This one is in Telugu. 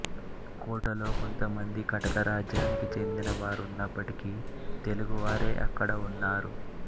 కోటలో కొంతమంది కటక రాజ్యానికి చెందిన వారున్నప్పటికీ తెలుగు వారే అక్కడ ఉన్నారు